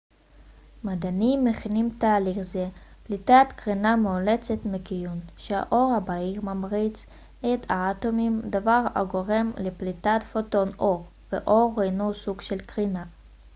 מדענים מכנים תהליך זה פליטת קרינה מאולצת מכיוון שהאור הבהיר ממריץ את האטומים דבר הגורם לפליטת פוטון אור ואור הינו סוג של קרינה